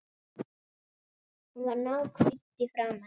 Hún var náhvít í framan.